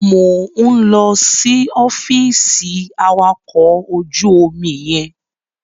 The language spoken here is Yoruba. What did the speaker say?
Mò ń lọ sí ọfíìsì awakọ̀ ojú omi yẹn.